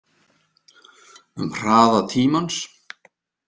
Um hraða tímans